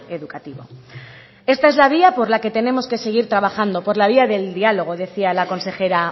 educativo esta es la vía por la que tenemos que seguir trabajando por la vía del diálogo decía la consejera